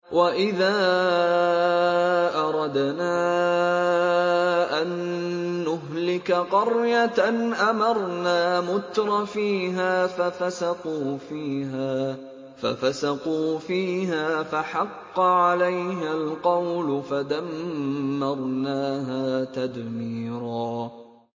وَإِذَا أَرَدْنَا أَن نُّهْلِكَ قَرْيَةً أَمَرْنَا مُتْرَفِيهَا فَفَسَقُوا فِيهَا فَحَقَّ عَلَيْهَا الْقَوْلُ فَدَمَّرْنَاهَا تَدْمِيرًا